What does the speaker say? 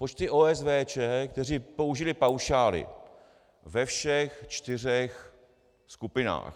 Počty OSVČ, které použily paušály ve všech čtyřech skupinách.